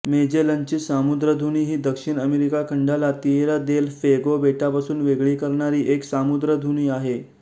मेजेलनची सामुद्रधुनी ही दक्षिण अमेरिका खंडाला तिएरा देल फ्वेगो बेटापासून वेगळी करणारी एक सामुद्रधुनी आहे